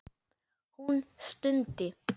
Hún stundi.